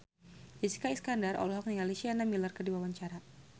Jessica Iskandar olohok ningali Sienna Miller keur diwawancara